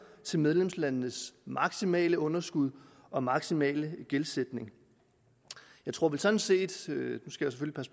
til medlemslandenes maksimale underskud og maksimale gældsætning jeg tror sådan set